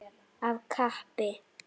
Af kappi.